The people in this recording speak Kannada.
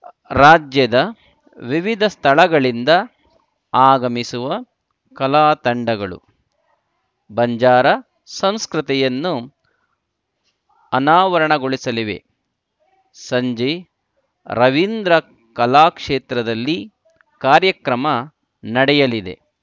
ರಾಜ್ಯದ ವಿವಿಧ ಸ್ಥಳಗಳಿಂದ ಆಗಮಿಸುವ ಕಲಾ ತಂಡಗಳು ಬಂಜಾರ ಸಂಸ್ಕೃತಿಯನ್ನು ಅನಾವರಣಗೊಳಿಸಲಿವೆ ಸಂಜೆ ರವೀಂದ್ರ ಕಲಾಕ್ಷೇತ್ರದಲ್ಲಿ ಕಾರ್ಯಕ್ರಮ ನಡೆಯಲಿದೆ